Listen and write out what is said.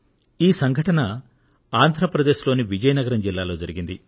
ఈ సంఘటన ఆంధ్ర ప్రదేశ్ లోని విజయనగరం జిల్లాలో జరిగింది